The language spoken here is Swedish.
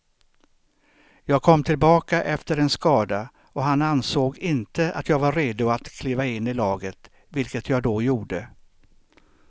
Jag kom tillbaka efter en skada och han ansåg inte att jag var redo att kliva in i laget, vilket jag då gjorde.